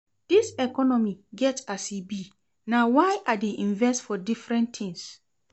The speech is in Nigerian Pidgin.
Dis economy get as e be, na why I dey invest for different tins.